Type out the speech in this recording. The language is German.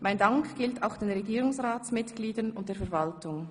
Mein Dank gilt auch den Regierungsratsmitgliedern und der Verwaltung.